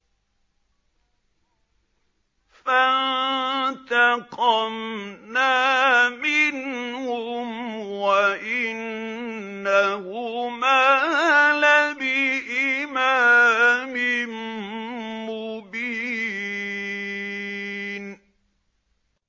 فَانتَقَمْنَا مِنْهُمْ وَإِنَّهُمَا لَبِإِمَامٍ مُّبِينٍ